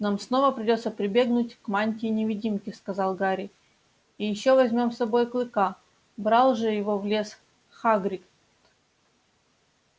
нам снова придётся прибегнуть к мантии-невидимке сказал гарри и ещё возьмём с собой клыка брал же его в лес хагрид